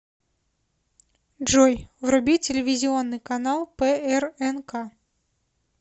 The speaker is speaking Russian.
джой вруби телевизионный канал прнк